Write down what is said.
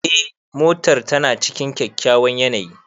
Eh, motar tana cikin kyakkyawan yanayi.